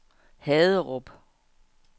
Haderup